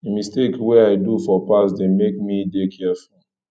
di mistakes wey i do for past dey make me dey careful